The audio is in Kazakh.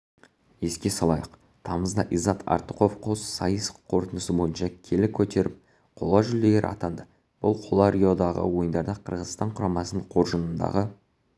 еске салайық тамызда иззат артықов қос сайыс қорытындысы бойынша келі көтеріп қола жүлдегер атанды бұл қола риодағы ойындарда қырғызстан құрамасының қоржынындағы